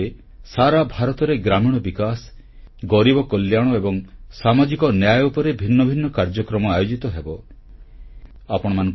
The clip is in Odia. ଏହି ସମୟରେ ସାରା ଭାରତରେ ଗ୍ରାମୀଣ ବିକାଶ ଗରିବ କଲ୍ୟାଣ ଏବଂ ସାମାଜିକ ନ୍ୟାୟ ଉପରେ ଭିନ୍ନ ଭିନ୍ନ କାର୍ଯ୍ୟକ୍ରମ ଆୟୋଜିତ ହେବାକୁ ଯାଉଛି